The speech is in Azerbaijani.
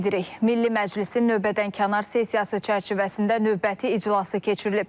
Milli Məclisin növbədənkənar sessiyası çərçivəsində növbəti iclası keçirilib.